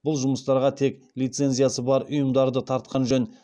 бұл жұмыстарға тек лицензиясы бар ұйымдарды тартқан жөн